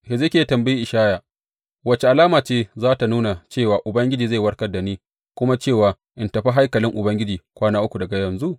Hezekiya ya tambayi Ishaya, Wace alama ce za tă nuna cewa Ubangiji zai warkar da ni, kuma cewa in tafi haikalin Ubangiji kwana uku daga yanzu?